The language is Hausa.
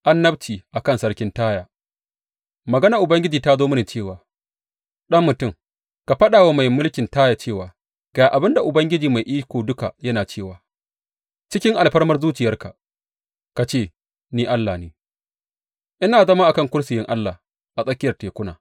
Annabci a kan sarkin Taya Maganar Ubangiji ta zo mini cewa, Ɗan mutum, ka faɗa wa mai mulkin Taya cewa, Ga abin da Ubangiji Mai Iko Duka yana cewa, Cikin alfarmar zuciyarka ka ce, Ni allah ne; ina zama a kan kursiyin allah a tsakiyar tekuna.